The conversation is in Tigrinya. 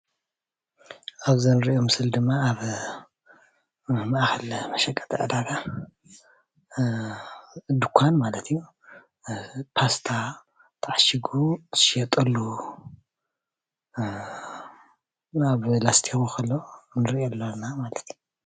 ኣብዚ እንሪኦ ምስሊ ድማ ኣብ ማእከል መሸቀጢ ዕዳጋ ድንኳን ማለት እዩ። ፓስታ ተዓሺጉ ዝሽየጠሉ ኣብ ላስቲክ ከሎ ንሪኦ ኣለና ማለት እዩ።